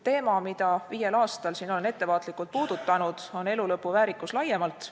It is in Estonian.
Teema, mida viiel aastal olen siin ettevaatlikult puudutanud, on elulõpu väärikus laiemalt.